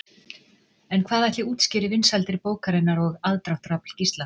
En hvað ætli útskýri vinsældir bókarinnar og aðdráttarafl Gísla?